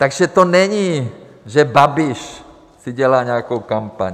Takže to není, že Babiš si dělá nějakou kampaň.